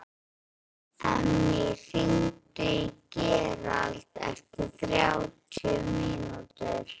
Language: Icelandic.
Emmý, hringdu í Gerald eftir þrjátíu mínútur.